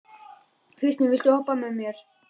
Kristine, viltu hoppa með mér?